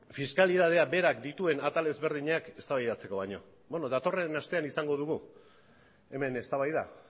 fiskalitateak berak dituen atal ezberdinak eztabaidatzeko baino bueno datorren astean izango dugu hemen eztabaida